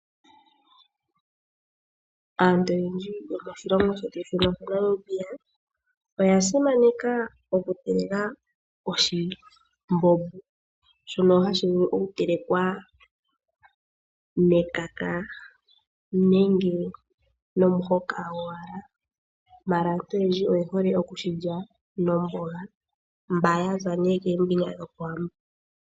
Aantu oyendji yomoshilongo shetu shino shaNamibia oya simakena oku teleka oshimbombo shono hashi vulu oku telekwa nekaka nenge nomuhoka gowala, ashike aantu oyendji oye hole oku shilya nomboga mba yaza kombinga dhoko wambo.